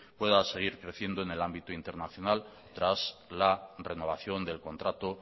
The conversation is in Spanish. pueda seguir creciendo en el ámbito internacional tras la renovación del contrato